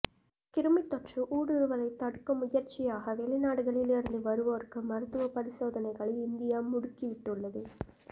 கிருமித்தொற்று ஊடுருவலைத் தடுக்கும் முயற்சியாக வெளிநாடுகளிலிருந்து வருவோருக்கு மருத்துவப் பரிசோதனைகளை இந்தியா முடுக்கிவிட்டுள்ளது